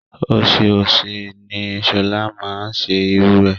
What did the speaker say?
Ọ̀sẹ̀ọ̀sè ni Shola máa n ṣe iru ẹ.